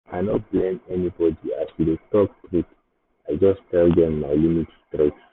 i no blame anybody as we dey talk truth i just tell dem my limits straight